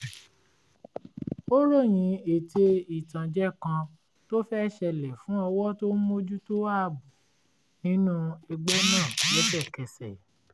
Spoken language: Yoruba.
ó ròyìn ète ìtànjẹ kan tó fẹ́ ṣẹlẹ̀ fún ọwọ́ tó ń mójútó ààbò nínú ẹgbẹ́ náà lẹ́sẹ̀kẹsẹ̀